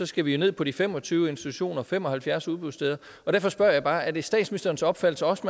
skal vi ned på de fem og tyve institutioner og fem og halvfjerds udbudssteder derfor spørger jeg bare er det statsministerens opfattelse også